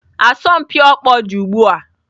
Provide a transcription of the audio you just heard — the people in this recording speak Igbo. Asọmpi ọkpọ dị ugbu a.